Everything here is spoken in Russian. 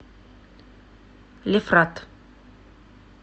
лефрат